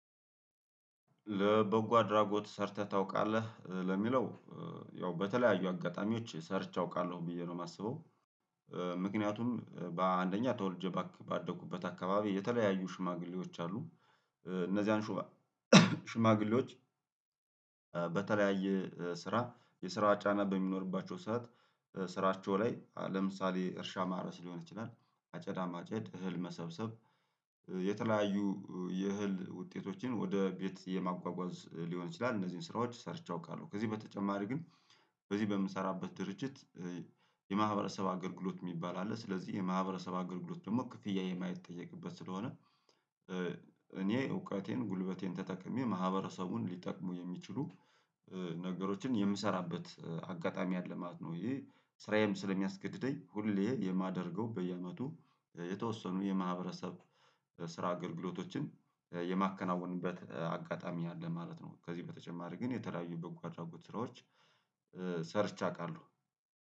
ለበጎ አድራጎት ሰርተህ ታውቃለህ ለሚለው ያው በተለያዩ አጋጣሚዎች ሰርቼ አውቃለሁ ብዬ ነው የማስበው። ምክንያቱም በአንደኛ ተወልጄ ባደኩበት አካባቢ የተለያዩ ሽማግሌዎች አሉ እነዚያን ሽማግሌዎች በተለያየ ስራ የስራ ጫና በሚኖርባቸው ሰዓት ስራቸው ላይ ለምሳሌ እርሻ ማረስ ሊሆን ይችላል አጨዳ ማጨድ እህል መሰብሰብ የተለያዩ የእህል ውጤቶችን ወደ ቤት የማጓጓዝ ሊሆን ይችላል እነዚህን ስራዎች ሰርቼ አውቃለሁ። ከዚህ በተጨማሪ ግን በዚህ በምሰራበት ድርጅት የማህበረሰብ አገልግሎት የሚባል አለ ስለዚህ የማህበረሰብ አገልግሎት ደግሞ ክፍያ የማይጠየቅበት ስለሆነ እኔ እውቀቴን ጉልበቴን ተጠቅሜ ማህበረሰቡን ሊጠቅሙ የሚችሉ ነገሮችን የምሰራበት አጋጣሚ አለማለት ነው። ይሄ ስራዬም ስለሚያስገድደኝ ሁሌ የማደርገው በየአመቱ የተወሰኑ የማህበረሰብ ስራ አገልግሎቶችን የማከናውንበት አጋጣሚ አለ ማለት ነው። ከዚህ በተጨማሪ ግን የተለያዩ በጎ አድራጎት ስራዎች ሰርቼ አውቃለሁ